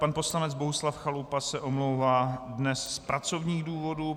Pan poslanec Bohuslav Chalupa se omlouvá dnes z pracovních důvodů.